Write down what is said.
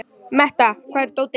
Metta, hvar er dótið mitt?